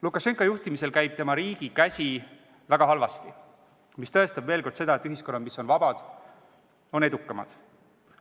Lukašenka juhtimisel käib tema riigi käsi väga halvasti, mis tõestab veel kord seda, et ühiskonnad, mis on vabad, on edukamad.